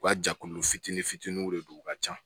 U ka jɛkulu fitinin fitiniw de don u ka ca